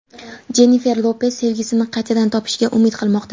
Jennifer Lopes sevgisini qaytadan topishiga umid qilmoqda.